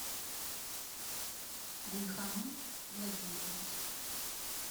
гульханум владимирович